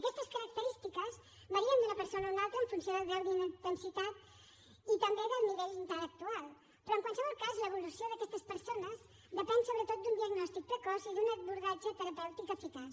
aquestes característiques varien d’una persona a una altra en funció del grau d’intensitat i també del nivell intel·lectual però en qualsevol cas l’evolució d’aquestes persones depèn sobretot d’un diagnòstic precoç i d’un abordatge terapèutic eficaç